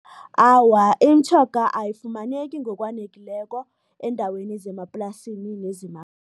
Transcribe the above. Awa, imitjhoga ayifumaneki ngokwanekileko eendaweni zemaplasini